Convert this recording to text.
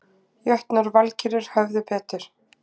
Jötnar og Valkyrjur höfðu betur